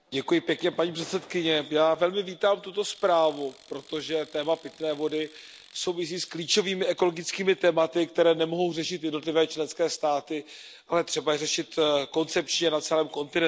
Paní předsedající, já velmi vítám tuto zprávu, protože téma pitné vody souvisí s klíčovými ekologickými tématy, které nemohou řešit jednotlivé členské státy, ale je třeba je řešit koncepčně na celém kontinentu.